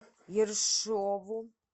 ершову